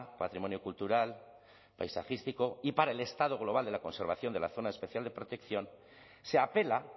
patrimonio cultural paisajístico y para el estado global de la conservación de la zona especial de protección se apela